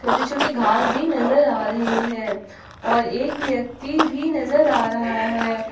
छोटे छोटे घास भी नजर आ रहे हैं और एक व्यक्ति भी नजर आ रहा है।